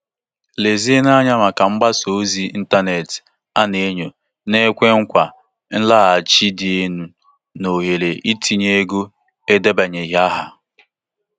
Lezienụ anya maka mgbasa ozi ịntanetị a na-enyo na-ekwe nkwa nloghachi dị elu na ohere itinye ego edebanyeghị aha.